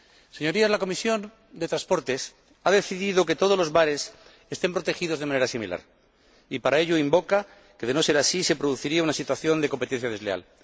Señorías, la Comisión de Transportes ha decidido que todos los mares estén protegidos de una manera similar. Y para ello invoca que, de no ser así, se produciría una situación de competencia desleal.